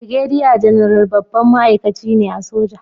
Birgediya Janaral babban ma'aikaci ne a soja